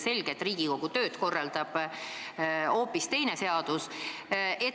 Selge, et Riigikogu tööd reguleerib hoopis teine seadus.